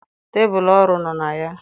Tebụl ọrụ nọ na ya.